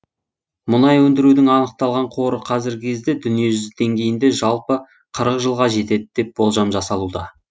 мұнай өндірудің анықталған қоры казіргі кезде дүниежүзі деңгейінде жалпы қырық жылға жетеді деп болжам жасалуда